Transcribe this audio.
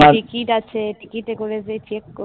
ticket আছে, টিকিটে করে যে check